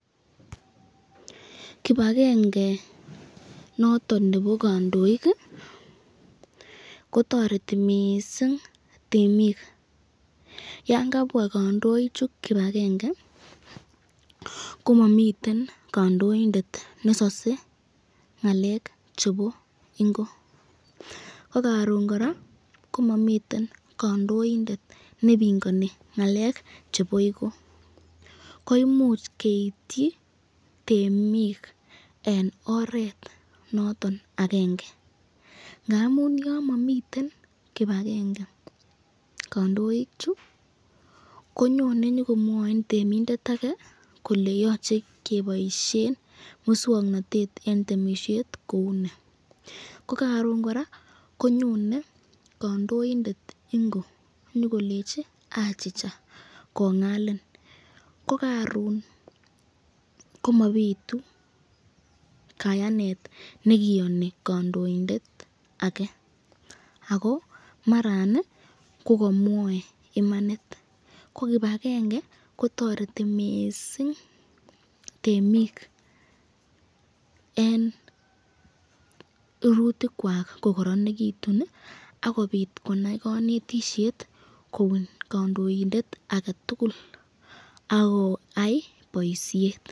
kibange noton nebo kondoik iih kotoreti mising temiik yan kabwaa kandoik chu kipagenge, komomiten kandoindet nesosoe ngaleek chebo ingo, ak karoon kora komomiten kandoindet nebingoni ngaleek chebi igo, koimuch keityi temiik en oreet noton agenge, amuun yon momiten kipagenge kandoik chu, konyone nyogomwoin temindet age kole yoche keboishen muswoknotet en temisheet kouu ni, ko karoon koraa konyone kandoindet ingo nyigolechi achicha kongaliin, ko karoon komobitu kayaaneet negiyoni kandoindet age, ago maraan iih kogomwoe imanit ko kipagenge kotoreti mising temiik en rurutik kwaak kogoronetun iih ak kobiit konai konetisyeet kobun kandoindet agetugul ak koyaii boishet.